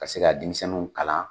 Ka se ka denmisɛnninw kalan